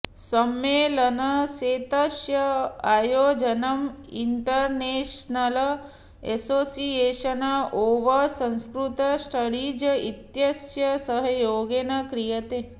सम्मेलनस्यैतस्य आयोजनम् international association of Sanskrit studies इत्यस्य सहयोगेन क्रियते